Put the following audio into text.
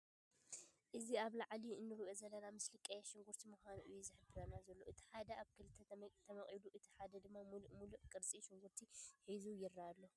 እዚ ኣብ ላዓሊ እንሪኦ ዘለና ምስሊ ቀይሕ ሽንኩርቲ ምኻኑ እዩ ዝሕብረና ዘሎ። እቲ ሓደ ኣብ ክልተ ተመቂሉ ፣እቲ ሓደ ድማ ሙሉእ ሙሉእ ቅርፂ ሽንኩርቲ ሒዙ ይርኣ ኣሎ።